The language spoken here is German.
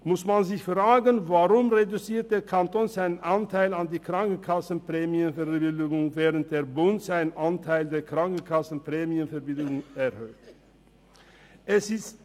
Man muss sich fragen, weshalb der Kanton seinen Anteil an die Krankenkassenprämien verringert, während der Bund seinen Anteil der Krankenkassenprämienverbilligungen erhöht.